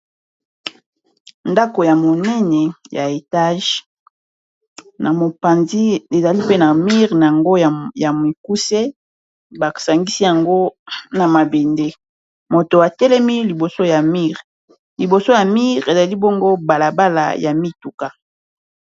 Ndako ya monene ya etage na mopanzi ezali pe na mire na yango ya mikuse bakasangisi yango na mabende moto atelemi liboso ya mire liboso ya mire ezali bongo balabala ya mituka.